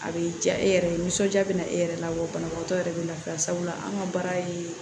A bɛ diya e yɛrɛ ye nisɔndiya bɛ na e yɛrɛ la wa banabagatɔ yɛrɛ bɛ lafiya sabula an ka baara ye